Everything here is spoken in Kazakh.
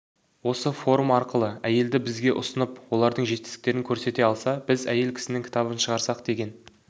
осы форум арқылы әйелді бізге ұсынып олардың жетістіктерін көрсете алса біз әйел кісінің кітабын шығарсақ деген